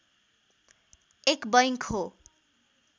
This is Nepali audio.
एक बैंक हो